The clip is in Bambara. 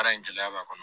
Baara in gɛlɛya b'a kɔnɔ